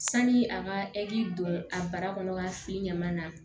Sani a ka don a bara kɔnɔ ka fili ɲaman na